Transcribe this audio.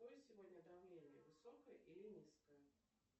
какое сегодня давление высокое или низкое